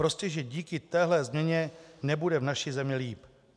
Prostě že díky téhle změně nebude v naší zemi líp.